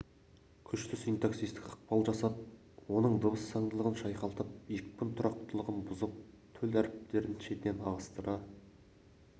күшті синтаксистік ықпал жасап оның дыбыс заңдылығын шайқалтып екпін тұрақтылығын бұзып төл әріптерін шетінен ығыстыра